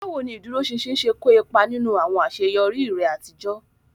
Báwo ni ìdúróṣinṣin ṣe kó ipa nínú àwọn àṣeyọrí rẹ àtijọ́?